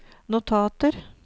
notater